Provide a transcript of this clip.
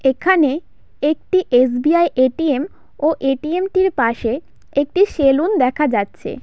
এখানে একটি S. B. I. A. T. M. ও এ. টি. এম. - টির পাশে একটি সেলুন দেখা যাচ্ছে।